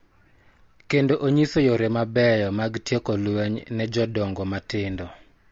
Kendo onyiso yore mabeyo mag tieko lweny ne jodongo matindo.